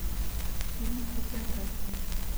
фильмы по биографии